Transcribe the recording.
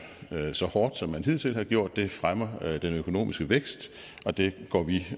så hårdt som man hidtil har gjort det fremmer den økonomiske vækst og det går vi